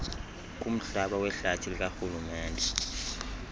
kumhlaba wehlathi likarhulumente